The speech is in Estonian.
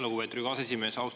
Lugupeetud Riigikogu aseesimees!